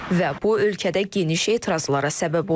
Və bu ölkədə geniş etirazlara səbəb olub.